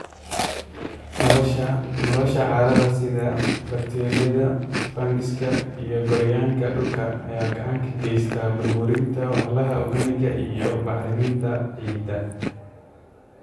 Noolaha carrada sida bakteeriyada, fangaska, iyo gooryaanka dhulka ayaa gacan ka geysta burburinta walxaha organic iyo bacriminta ciidda.